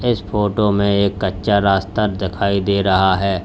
इस फोटो में एक कच्चा रास्ता दिखाई दे रहा है।